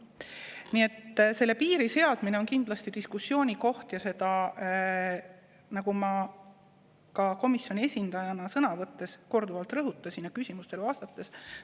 Nii et selle piiri seadmine on kindlasti diskussiooni koht ja seda ma komisjoni esindajana sõna võttes ja küsimustele vastates ka korduvalt rõhutasin.